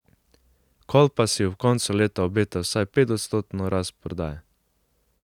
Kolpa si ob koncu leta obeta vsaj petodstotno rast prodaje.